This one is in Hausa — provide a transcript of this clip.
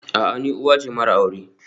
A'a, ni uwa ce mara aure